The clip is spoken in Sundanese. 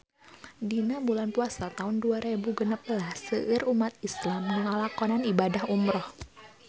Dina bulan Puasa taun dua rebu genep belas seueur umat islam nu ngalakonan ibadah umrah